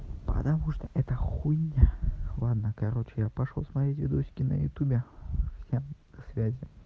потому что эта хуйня ладно короче я пошёл смотреть видосики на ютубе всем до связи